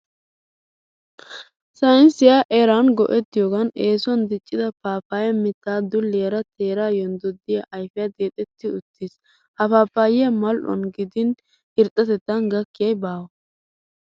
Saynnisiya eraa go'ettiyoogan eesuwan diccida paappayyaa mittay dulliyara teeraa yonddoddida ayfiya deexetti uttiis. Ha paappayyaa mal"uwan gidin irxxatettan gakkiyay baawa.